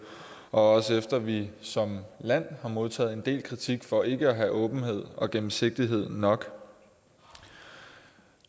også efter at vi som land har modtaget en del kritik for ikke at have åbenhed og gennemsigtighed nok